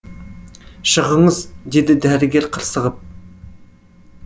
шығыңыз деді дәрігер қырсығып